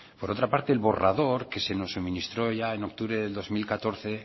por otra parte el borrador que se nos suministró ya en octubre del dos mil catorce